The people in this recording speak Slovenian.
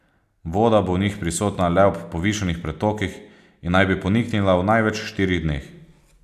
Voda bo v njih prisotna le ob povišanih pretokih in naj bi poniknila v največ štirih dneh.